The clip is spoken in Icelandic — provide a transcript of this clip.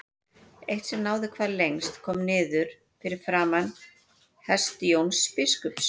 Eitt sem náði hvað lengst kom niður fyrir framan hest Jóns biskups.